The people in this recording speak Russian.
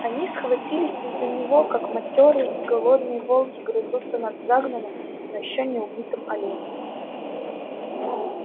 они схватились из-за него как матёрые и голодные волки грызутся над загнанным но ещё не убитым оленем